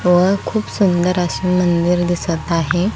व खूप सुंदर असं मंदिर दिसत आहे.